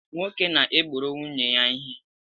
Nwoke na-egboro nwunye ya ihe